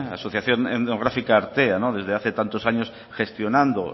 asociación etnográfica artea desde hace tantos años gestionando